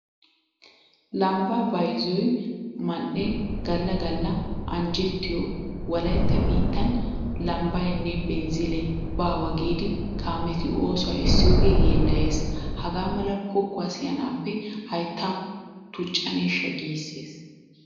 Lambbaa bayzziyo man"ee galla galla anjjettiyo wolaytta biittan lambbaynne binzzilee baawa giidi kaameti oosuwa essiyogee yeellayees. Hagaa mala pokkuwa siyanaappe hayttaa tuccaneeshsha giissees.